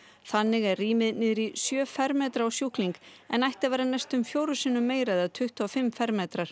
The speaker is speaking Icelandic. þannig er rýmið niður í sjö fermetra á sjúkling en ætti að vera næstum fjórum sinnum meira eða tuttugu og fimm fermetrar